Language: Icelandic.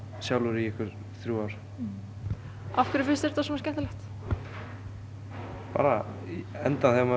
sjálfur í þrjú ár af hverju finnst þér þetta svona skemmtilegt bara í endan þegar maður